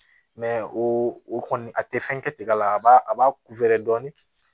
o o kɔni a tɛ fɛn kɛ tiga la a b'a a b'a dɔɔnin